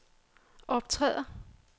optræder